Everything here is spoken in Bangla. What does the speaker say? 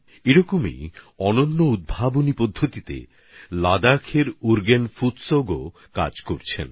এমনি অনেক উদ্ভাবনী পদ্ধতিতে লাদাখের উর্গেন ফুতসৌগও কাজ করে যাচ্ছেন